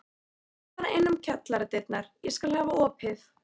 Þú kemur bara inn um kjallaradyrnar, ég skal hafa opið.